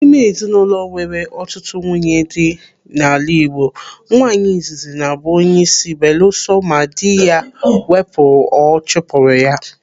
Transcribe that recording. N'ime ezinụlọ nwere ọtụtụ nwunye dị n'ala Igbo, nwaanyị izizi na-abụ onyeisi belusọ ma dị ya wepụrụ ọ chụpụrụ ya.